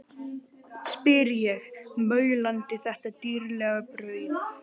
spyr ég, maulandi þetta dýrlega brauð.